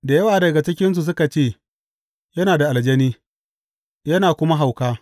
Da yawa daga cikinsu suka ce, Yana da aljani, yana kuma hauka.